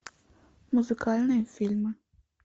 музыкальные фильмы